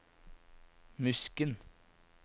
Musken